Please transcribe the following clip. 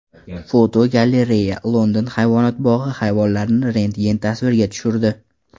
Fotogalereya: London hayvonot bog‘i hayvonlarni rentgen tasvirga tushirdi.